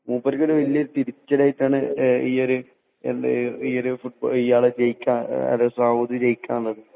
മൂപ്പർക്ക് വലിയ ഒരു തിരിച്ചടിയായിട്ടാണ് ഈയൊരു ഇയാളെ സൗദി ജയിക്കാൻ അതായത്